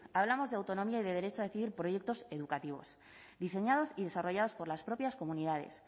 hablamos de autonomía y de derecho a decidir proyectos educativos diseñados y desarrollados por las propias comunidades